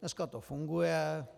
Dneska to funguje.